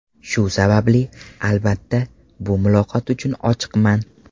Shu sababli, albatta, bu muloqot uchun ochiqman.